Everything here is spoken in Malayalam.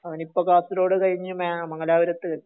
അവനിപ്പോ കാസർഗോഡ് കഴിഞ്ഞ് മംഗലാപുരത്ത്